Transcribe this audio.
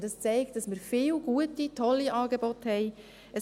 Und es zeigt, dass wir viele gute, tolle Angebote haben.